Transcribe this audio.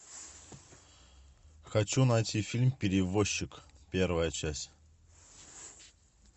хочу найти фильм перевозчик первая часть